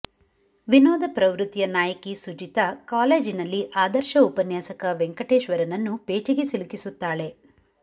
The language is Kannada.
ವಿನೋದ ಪ್ರವೃತ್ತಿಯ ನಾಯಕಿ ಸುಜಿತಾ ಕಾಲೇಜಿನಲ್ಲಿ ಆದರ್ಶ ಉಪನ್ಯಾಸಕ ವೆಂಕಟೇಶ್ವರನನ್ನು ಪೇಚಿಗೆ ಸಿಲುಕಿಸುತ್ತಾಳೆ